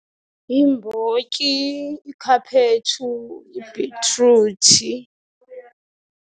Yimbotyi, ikhaphetshu, ibhitruthi.